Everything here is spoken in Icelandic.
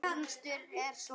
Hermdi vel eftir.